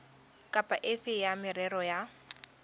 kapa efe ya merero ya